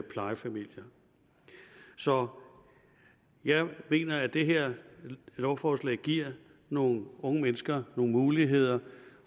plejefamilier så jeg mener at det her lovforslag giver nogle unge mennesker nogle muligheder